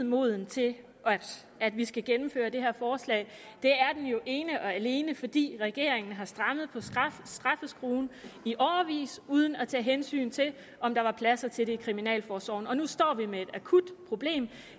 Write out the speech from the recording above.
moden til at vi skal gennemføre det her forslag det er den jo ene og alene fordi regeringen har strammet på straffeskruen i årevis uden at tage hensyn til om der var plads til det i kriminalforsorgen og nu står vi med et akut problem